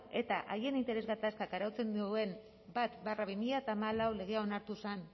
eta haien interes gatazkak arautzen duen bat barra bi mila hamalau legea onartu zen